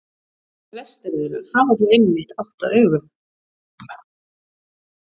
Flestar þeirra hafa þó einmitt átta augu.